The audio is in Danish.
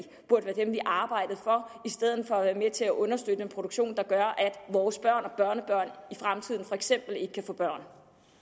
burde være dem vi arbejdede for i stedet for at være med til at understøtte en produktion der gør at vores børn og børnebørn i fremtiden for eksempel ikke kan få børn